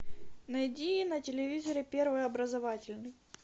найди на телевизоре первый образовательный